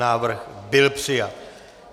Návrh byl přijat.